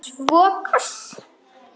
Svo koss.